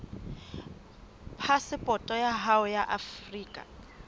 phasepoto ya hao ya afrika